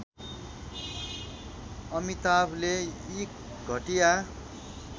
अमिताभले यी घटिया